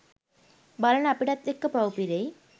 බලන අපිටත් එක්ක පව් පිරෙයි.